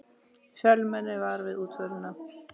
Fjölmenni var við útförina